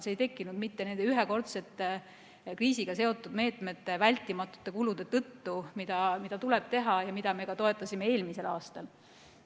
See ei tekkinud nende ühekordsete kriisiga seotud meetmete vältimatute kulude tõttu, mida tuleb teha ja mida me toetasime ka eelmisel aastal.